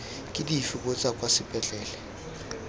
ke dife botsa kwa sepetlele